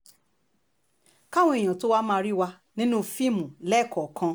káwọn èèyàn tóo wáá máa rí wà nínú fíìmù lẹ́ẹ̀kọ̀ọ̀kan